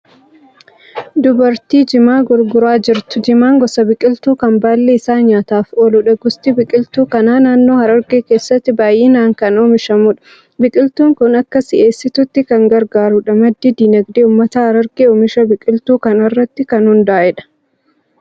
Dubartii jimaa gurguraa jirtu. jimaan gosa biqiltuu kan baalli isaa nyaataaf ooludha. Gosti biqiltuu kanaa naannoo Harargee keessatti baay'inaan kan oomishamudha. Biqiltuun ku akka si'eessituutti kan gargaarudha. Maddi dinagdee uummata Harargee oomisha biqiltuu kanarraatti kan hundaa'edha.